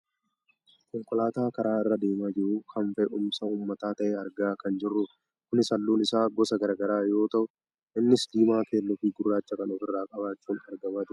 Konkolaataa karaa irra deemaa jiru kan fe'umsa uummataa ta'e argaa kan jirrudha kunis halluun isaa gosa gara garaa yoo ta'u innis diimaa keelloo fi gurraacha kan ofirraa qabaachuun argamaa jirudha.